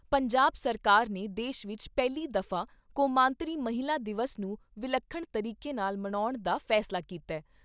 ਪੰਜਾਬ ਸਰਕਾਰ ਨੇ ਦੇਸ਼ ਵਿਚ ਪਹਿਲੀ ਦਫਾ ਕੌਮਾਂਤਰੀ ਮਹਿਲਾ ਦਿਵਸ ਨੂੰ ਵਿੱਲਖਣ ਤਰੀਕੇ ਨਾਲ ਮਨਾਉਣ ਦਾ ਫੈਸਲਾ ਕੀਤਾ ।